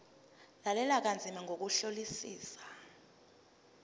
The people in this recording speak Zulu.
lalela kanzima ngokuhlolisisa